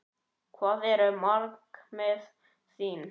Hver eru markmið þín?